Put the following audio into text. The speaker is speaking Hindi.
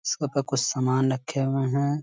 इसके ऊपर कुछ सामान रखे हुए हैं |